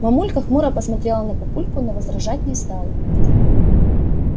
мамулька хмуро посмотрела на папульку но возражать не стала